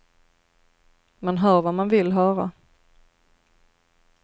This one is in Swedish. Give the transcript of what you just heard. Man hör vad man vill höra.